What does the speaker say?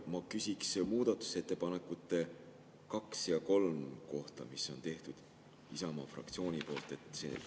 Ma küsiks muudatusettepanekute nr 2 ja 3 kohta, mille on teinud Isamaa fraktsioon.